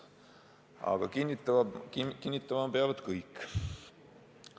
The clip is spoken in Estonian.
Aga kinnitama peavad kõik.